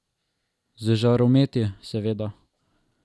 Z žarometi, seveda.